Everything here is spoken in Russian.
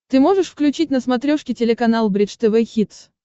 ты можешь включить на смотрешке телеканал бридж тв хитс